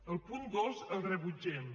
el punt dos el rebutgem